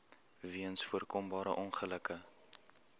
weens voorkombare ongelukke